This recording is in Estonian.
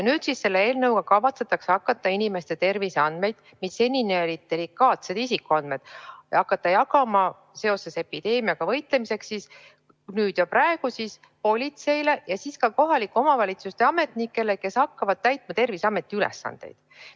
Nüüd selle eelnõuga kavatsetakse hakata inimeste terviseandmeid, mis seni olid delikaatsed isikuandmed, jagama epideemiaga võitlemiseks politseile ja ka kohalike omavalitsuste ametnikele, kes hakkavad täitma Terviseameti ülesandeid.